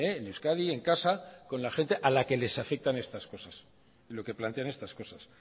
en euskadi en casa con la gente a la que les afectan estas cosas y lo que plantean estas cosas